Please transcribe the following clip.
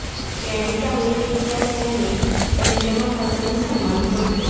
paddy चांगली व्यक्ती असल्याने त्यांच्या मताचा मी सन्मान करतो